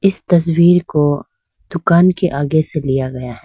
इस तस्वीर को दुकान के आगे से लिया गया है।